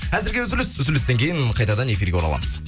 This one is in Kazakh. әзірге үзіліс үзілістен кейін қайтадан эфирге ораламыз